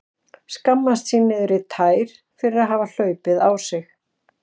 Skammast sín niður í tær fyrir að hafa hlaupið á sig.